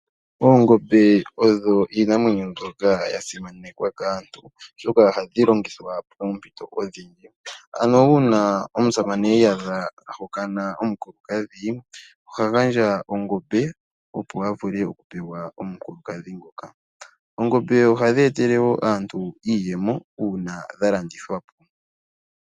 Oongombe odho iinamwenyo mbyoka ya simanekwa kaaantu, oshoka ohadhi longithwa poompito odhindji, ano uuna omusamane i iyadha a hokana omukulukadhi oha gandja ongombe, opo a vule okupewa omukulukadhi ngoka. Oongombe ohadhi etele wo aantu iiyemo uuna dha landithwa po.